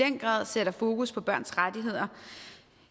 i den grad sætter fokus på børns rettigheder